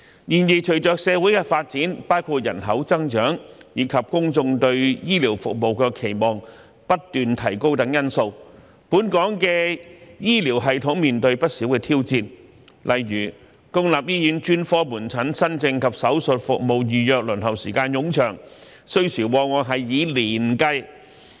然而，隨着社會的發展，包括人口增長，以及公眾對醫療服務的期望不斷提高等因素，本港的醫療系統面對不少挑戰，例如公立醫院專科門診新症及手術服務預約輪候時間冗長，需時往往以年計。